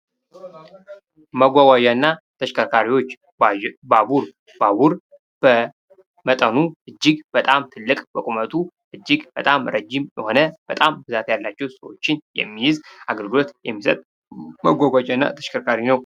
ማጓጓዣ እና ተሽከርካሪዎች ባቡር:- ባቡር በመጠኑ እጅግ በጣም ትልቅ በቁመቱ እጅግ በጣም ረዥም የሆነ በጣም ብዛት ያላቸዉ ሰዎችን የሚይዝ አገልግሎት የሚሰጥ ማጓጓዣ እና ተሽከርካሪ ነዉ።